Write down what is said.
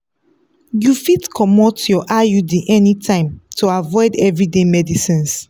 you fit comot your iud anytime to avoid everyday medicines.